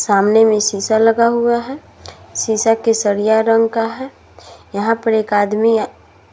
सामने में शीशा लगा हुआ है। शीशा केसरिया रंग का है। यहाँ पर एक आदमी